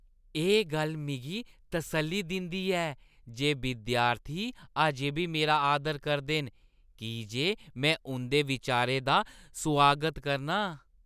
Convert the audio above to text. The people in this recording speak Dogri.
एह् गल्ल मिगी तसल्ली दिंदी ऐ जे विद्यार्थी अजें बी मेरा आदर करदे न की जे में उंʼदे बिचारें दा सुआगत करना आं।